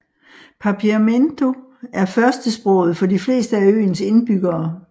Papiamento er førstesproget for de fleste af øens indbyggere